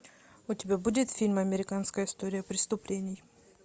у тебя будет фильм американская история преступлений